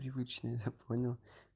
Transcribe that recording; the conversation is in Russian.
привычно я понял